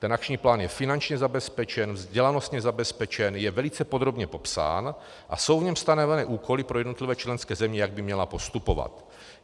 Ten akční plán je finančně zabezpečen, vzdělanostně zabezpečen, jen velice podrobně popsán a jsou v něm stanoveny úkoly pro jednotlivé členské země, jak by měly postupovat.